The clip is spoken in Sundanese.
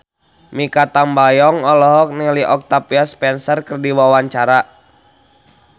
Mikha Tambayong olohok ningali Octavia Spencer keur diwawancara